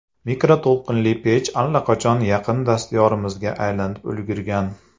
Mikroto‘lqinli pech allaqachon yaqin dastyorimizga aylanib ulgurgan.